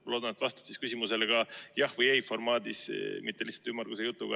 Ma loodan, et vastad küsimusele jah või ei, mitte lihtsalt ümmarguse jutuga.